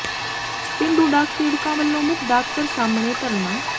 ਪੇਂਡੂ ਡਾਕ ਸੇਵਕਾਂ ਵਲੋਂ ਮੁੱਖ ਡਾਕ ਘਰ ਸਾਹਮਣੇ ਧਰਨਾ